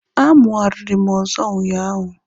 A mụariri mụ ọzọ ụnyaahụ.